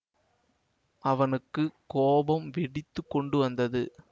அவனுக்கு கோபம் வெடித்து கொண்டு வந்தது